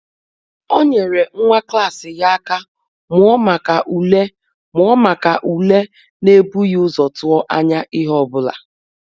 Ọ nyere nwa klas ya aka mụọ maka ule mụọ maka ule n’ebughị ụzọ tụọ anya ihe ọ bụla.